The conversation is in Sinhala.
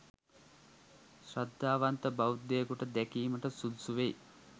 ශ්‍රද්ධාවන්ත බෞද්ධයකුට දැකීමට සුදුසු වෙයි